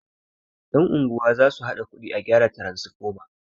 yan' unguwa za su haɗa kudi a gyara taransifoma